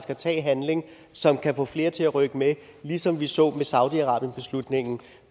at tage handling som kan få flere til at rykke med ligesom vi så med saudi arabien beslutningen